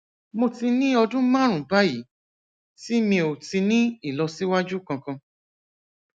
mo ti ní ọdún márùnún báyìí tí mi ò ti ní ìlọsíwájú kankan